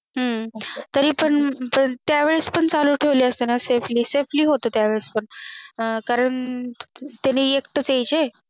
हम्म तरी त्या वेळे पण चालू ठेवले असते ना SafelySafely होत त्यावेळे कारण ते एकटे यायचं